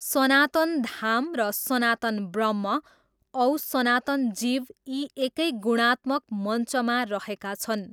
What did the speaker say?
सनातन धाम र सनातन ब्रह्म औ सनातन जीव यी एकै गुणात्मक मञ्चमा रहेका छन्।